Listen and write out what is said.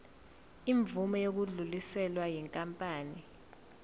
imvume yokudluliselwa yinkampani